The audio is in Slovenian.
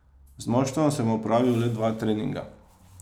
Z moštvom sem opravil le dva treninga.